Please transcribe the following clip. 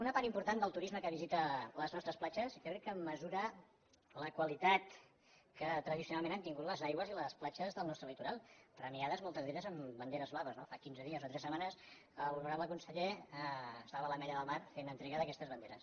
una part important del turisme que visita les nostres platges jo crec que mesura la qualitat que tradicionalment han tingut les aigües i les platges del nostre litoral premiades moltes d’aquestes amb banderes blaves no fa quinze dies o tres setmanes l’honorable conseller estava a l’ametlla de mar fent lliurament d’aquestes banderes